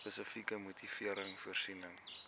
spesifieke motivering voorsien